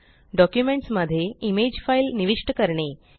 documents मध्ये image file निविष्ट करणे